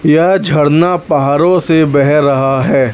यह झरना पहाड़ों से बह रहा है।